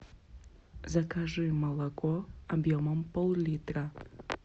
закажи молоко объемом пол литра